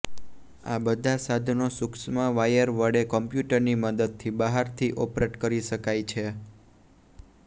આ બધા સાધનો સુક્ષ્મ વાયર વડે કમ્પ્યૂટરની મદદથી બહારથી ઓપરેટ કરી શકાય છે